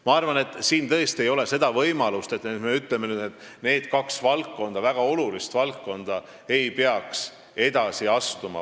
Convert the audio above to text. Ma arvan, et siin ei ole tõesti sellist võimalust, et me ütleksime nüüd, et need kaks väga olulist valdkonda ei peaks edasi astuma.